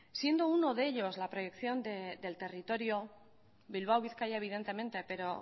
siendo uno de ellos la previsión del territorio bilbao bizkaia evidentemente pero